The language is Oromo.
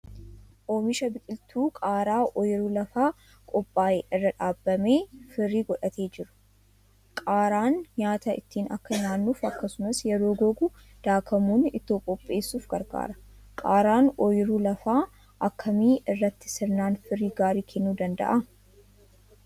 Oomisha biqiltuu qaaraa ooyiruu lafaa qophaa'e irra dhaabamee firii godhatee jiru. Qaaraan nyaata ittiin akka nyaannuuf akkasumas yeroo gogu daakamuun ittoo qopheessuuf gargaara. Qaaraan ooyiruu lafaa akkamii irratti sirnaan firii gaarii kennuu danda'a?